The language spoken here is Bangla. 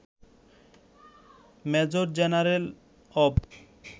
Major general of.